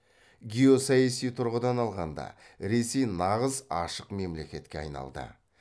геосаяси тұрғыдан алғанда ресей нағыз ашық мемлекетке айналды